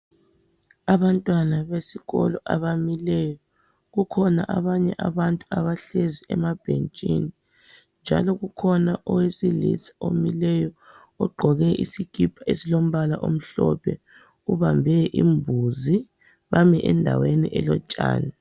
Abantwana besikolo abamileyo, kukhona abantu abahlezi emabhentshini njalo kukhona owesilisa omileyo ogqoke isikhipa esilombala omhlophe ubambe imbuzi beme endaweni elotshani.